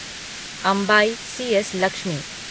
Ambai CS. Lakshmi